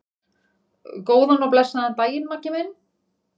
Góðan og blessaðan daginn, Maggi minn.